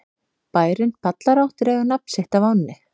Bærinn Ballará dregur nafn sitt af ánni.